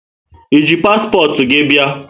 E ji paspọtụ gị bia?